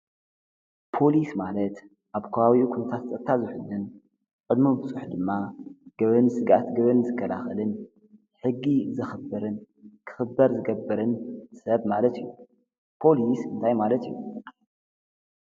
ፖሊስ ማለት ኣብ ካባቢ ዂንታት ፀጠታ ዙኅንን ቅድሚ ብፁሕ ድማ ገብን ሥጋት ግብን ዝከዳኽልን ሕጊ ዘኽብርን ክኽበር ዝገብርን ሰብ ማለት እዩ ፖሊስ እንታይ ማለት እዩ?